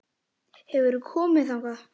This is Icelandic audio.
Hefurðu komið þangað?